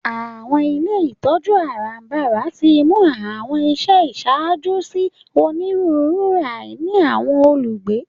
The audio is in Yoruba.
Àwọn ilé ìtójú àràbarà timú àwọn iṣẹ iṣaajo si oniruuru àìní àwọn olugbe.